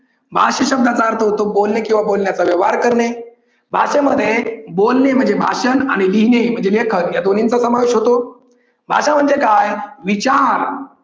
भाषा शब्दाचा अर्थ होतो बोलणे किंवा बोलण्याचा व्यवहार करणे भाषेमध्ये बोलणे माझे भाषण आणि लिहिणे म्हणजे लेखन या दोन्हींचा समावेश होतो. भाषा म्हणजे काय विचार.